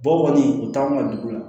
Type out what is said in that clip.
Bɔ kɔni u t'anw ka dugu la